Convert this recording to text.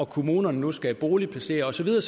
kommunerne nu skal boligplacere og så videre